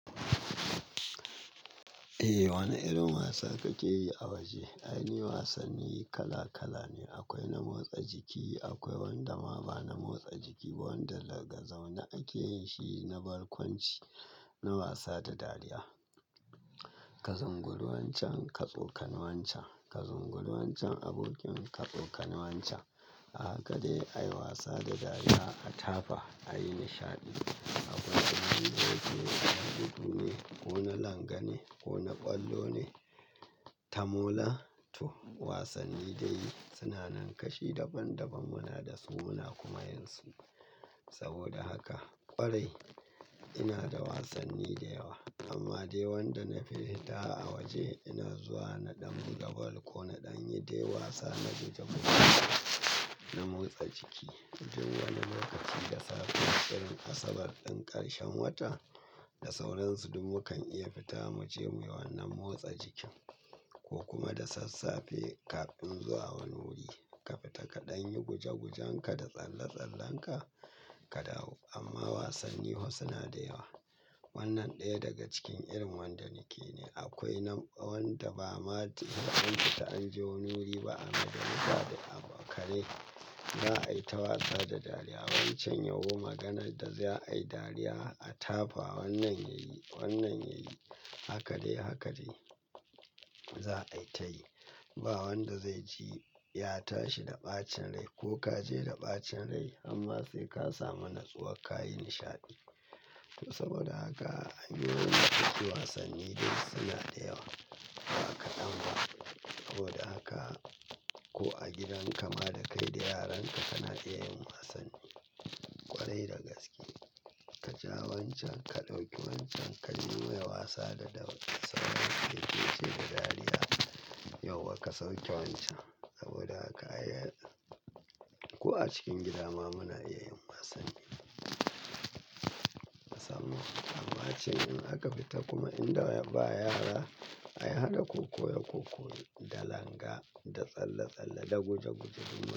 Eh, wani irin wasa kake yi a waje? Ai ni wasanni kala kala ne. Akwai na motsa jiki, akwai wanda ma ba na motsa jiki ba, wanda daga zaune ake yin shi na barkwanci, na wasa da dariya. Ka zunguru wancan, ka tsokane wancan, ka zunguru wancan abokin ka, ka tsoka wancan. Haka dai ayi wasa da dariya, a tafa, a yi nishaɗi. Akwai na ruje, na gudu ne, ko na langa ne, ko na ƙwallo ne, ta mola to wasanni dai suna nan kashi daban daban muna da su muna kuma yin su. Saboda haka ƙwarai ina da wasanni da yawa amma dai wanda na fi fita a waje ina zuwa na ɗan buga bal ko na ɗan yi dai wasa, na guje guje, na motsa jiki. Tun wani lokaci da safe irin asabar ɗin ƙarshen wata da sauransu duk mukan iya fita mu je mu yi wannan motsa jikin ko kuma da sassafe kafin zuwa wani wuri ka fita ka ɗan yi guje gujen ka da tsalle tsallen ka, ka dawo. Amma wasanni fa suna da yawa. Wannan ɗaya daga cikin irin wanda nake ne. Akwai wanda ba ma an fita an je wuri ba amma dai za ka yi abu a kare. Za a yi ta wasa da dariya wancan yau maganar da za a yi dariya a tafa wannan yayi, wannan yayi, haka dai haka dai za a yi ta yi. Ba wanda zai ji ya tashi da ɓacin rai ko ka je da ɓacin rai amma sai ka samu natsuwa ka yi nishaɗi. To saboda haka an yi wani lokaci wasanni dai suna da yawa ba kaɗan ba. Saboda haka ko a gidan ka ma da kai da yaran ka kana iya yin wasanni ƙwarai da gaske. Ka ja wancan, ka ɗauki wancan, ka nuna wa wasa da sauransu, ki yi ce da dariya. Yauwa ka sauke wancan? Saboda haka ko a cikin gida ma muna iya yin wasanni. Ka samu. Amma cikin in aka fita kuma inda ba yara ayi hada koko da koko, da langa, da tsalle tsalle, da guje guje duk muna.